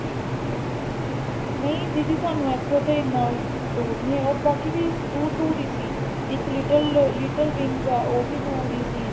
ਨੀ ਦੀਦੀ ਸਾਨੂੰ ਇੱਥੋ ਤੇ ਜਿਆਦਾ ਦੂਰ ਨਹੀਂ ਹੈਗਾ ਬਾਕੀ ਵੀ ਦੂਰ ਦੂਰ ਹੀ ਸੀ ਇੱਕ little little wings ਐ ਉਹ ਵੀ ਦੂਰ ਹੀ ਸੀ